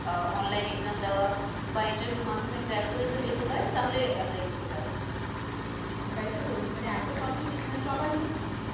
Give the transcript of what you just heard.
আহ online exam দেওয়া বা interview এর মাধ্যমে crack করে কেউ যেতে পারে তাহলে apply করতে পারে ওটাই তো বলছি মানে এতো competition সবাই